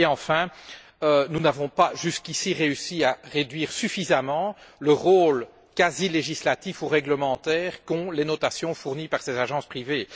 Troisièmement, nous n'avons pas, jusqu'ici, réussi à réduire suffisamment le rôle quasi législatif ou réglementaire qu'ont les notations fournies par ces agences privées.